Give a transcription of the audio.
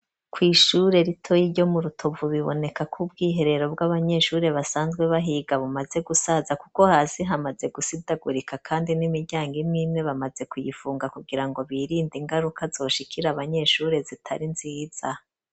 Kwishure ritoyi ryo mu Rutovu biboneka ko ubwiherero bw'abanyeshuri basanzwe bahiga bumaze gusaza kuko hazi hamaze gusidagurika kandi n'imiryango imwimwe bamaze kuyifunga kugira ngo birinde ingaruka zoshikira abanyeshuri zitari nziza.